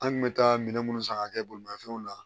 An kun bɛ taa minɛn minnu san ka kɛ bolimafɛnw la